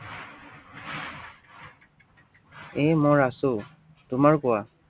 এৰ মই আছো। তোমাৰ কোৱা